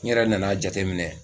N ɲɛrɛ nana jateminɛ